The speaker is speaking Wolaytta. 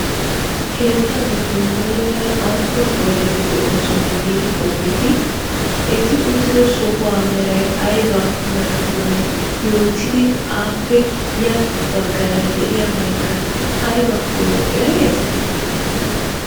Keettaa giddon muleera aappun oydeti de'oosona giidi qoppeetii? Eti uttido sohuwa meray aba merakkonne yootidi appe ya baggaara de'iabaykka aybakko ereetii?